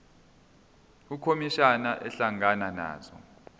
ukhomishana ehlangana nazo